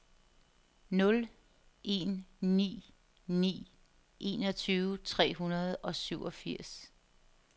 nul en ni ni enogtyve tre hundrede og syvogfirs